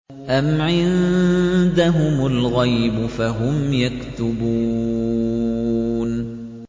أَمْ عِندَهُمُ الْغَيْبُ فَهُمْ يَكْتُبُونَ